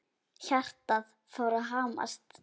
Hjartað fór að hamast.